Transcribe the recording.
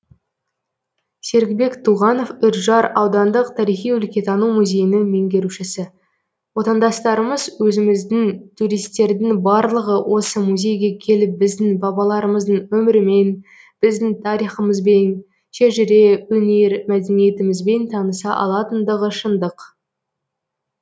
серікбек туғанов үржар аудандық тарихи өлкетану музейінің меңгерушісі отандастарымыз өзіміздің туристердің барлығы осы музейге келіп біздің бабаларымыздың өмірімен біздің тарихымызбен шежіре өнер мәдениетімізбен таныса алатындығы шындық